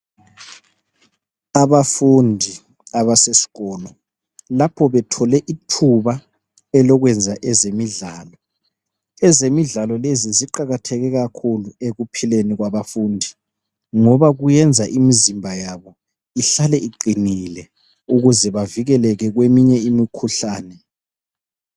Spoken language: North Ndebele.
Abafundi abasesikolo lapho bethole ithuba elokwenza ezemidlalo, ezemidlalo lezi ziqakatheke kakhulu ekuphileni kwabafundi ngoba kuyenza imizimba yabo ihlale iqinile ukuze bavikeleke kweminye imikhuhlane.